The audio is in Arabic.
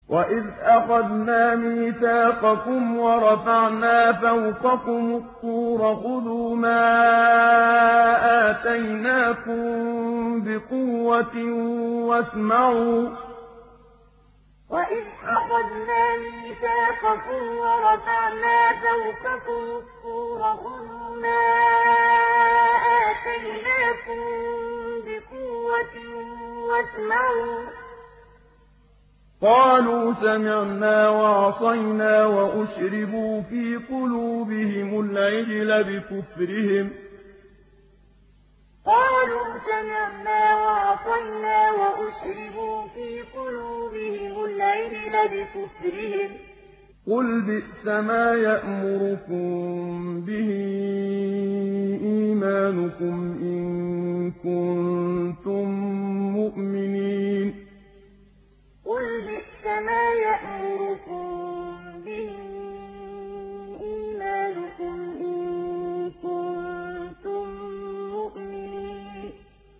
وَإِذْ أَخَذْنَا مِيثَاقَكُمْ وَرَفَعْنَا فَوْقَكُمُ الطُّورَ خُذُوا مَا آتَيْنَاكُم بِقُوَّةٍ وَاسْمَعُوا ۖ قَالُوا سَمِعْنَا وَعَصَيْنَا وَأُشْرِبُوا فِي قُلُوبِهِمُ الْعِجْلَ بِكُفْرِهِمْ ۚ قُلْ بِئْسَمَا يَأْمُرُكُم بِهِ إِيمَانُكُمْ إِن كُنتُم مُّؤْمِنِينَ وَإِذْ أَخَذْنَا مِيثَاقَكُمْ وَرَفَعْنَا فَوْقَكُمُ الطُّورَ خُذُوا مَا آتَيْنَاكُم بِقُوَّةٍ وَاسْمَعُوا ۖ قَالُوا سَمِعْنَا وَعَصَيْنَا وَأُشْرِبُوا فِي قُلُوبِهِمُ الْعِجْلَ بِكُفْرِهِمْ ۚ قُلْ بِئْسَمَا يَأْمُرُكُم بِهِ إِيمَانُكُمْ إِن كُنتُم مُّؤْمِنِينَ